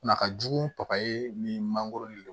Na ka jugu paye min mangoro de don